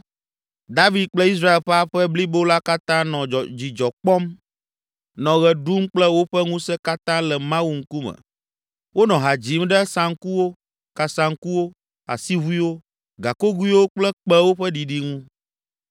David kple Israel ƒe aƒe blibo la katã nɔ dzidzɔ kpɔm, nɔ ɣe ɖum kple woƒe ŋusẽ katã le Mawu ŋkume. Wonɔ ha dzim ɖe saŋkuwo, kasaŋkuwo, asiʋuiwo, gakogoewo kple kpẽwo ƒe ɖiɖi ŋu.